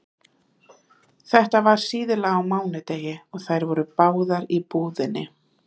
Þetta var síðla á mánudegi og þær voru báðar í búðinni.